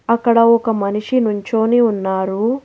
అక్కడ ఒక మనిషి నుంచొని ఉన్నారు.